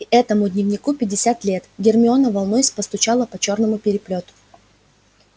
и этому дневнику пятьдесят лет гермиона волнуясь постучала по чёрному переплету